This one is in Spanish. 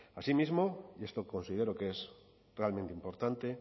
asimismo y esto considero que es realmente importante